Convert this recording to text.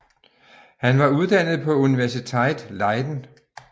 Han var uddannet på Universiteit Leiden